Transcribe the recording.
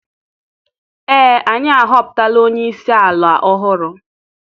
Ee anyị ahọpụtala onye isi ala ọhụrụ.